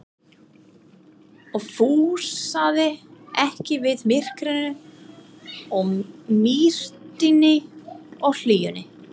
og fúlsaði ekki við myrkrinu og mýktinni og hlýjunni.